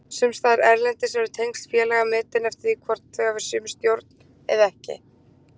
Sumstaðar erlendis eru tengsl félaga metin eftir því hvort þau hafi sömu stjórn eða ekki.